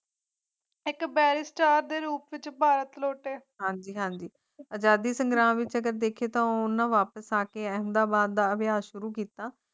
ਏਕ ਕਬਰਿਸਤਾਨ ਦੇ ਰੂਪ ਵਿਚ ਭਾਰਤ ਲੋਟੇ ਹਨ ਜਿਨ੍ਹਾਂ ਦੀ ਆਜ਼ਾਦੀ ਸੰਗਰਾਮ ਵਿੱਚ ਦੇਖੀਏ ਤਾਂ ਉਨ੍ਹਾਂ ਵਾਪਸ ਆ ਕੇ ਅਹਿਮਦਾਬਾਦ ਦਾ ਅਭਿਆਨ ਸ਼ੁਰੁ ਕੀਤਾ